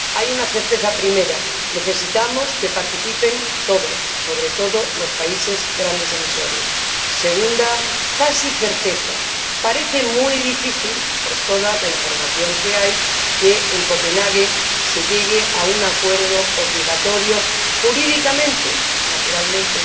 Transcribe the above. Hay una primera certeza necesitamos que participen todos, sobre todo los países que son grandes emisores. Segunda casi certeza parece muy difícil, por toda la información que hay, que en Copenhague se llegue a un acuerdo obligatorio jurídicamente como, naturalmente,